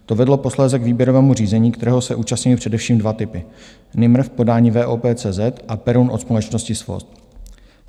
To vedlo posléze k výběrovému řízení, kterého se účastnily především dva typy: Nimr v podání VOP CZ a Perun od společnosti SVOS.